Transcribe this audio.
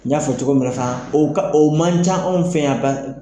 N y'a fɔ cogo min na fana o o man ca anw fɛ yan ba